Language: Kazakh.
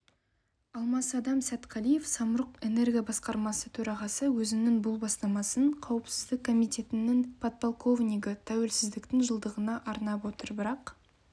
алмасадам сәтқалиев самұрық-энерго басқармасы төрағасы өзінің бұл бастамасын қауіпсіздік комитетінің подполковнигі тәуелсіздіктің жылдығына арнап отыр бірақ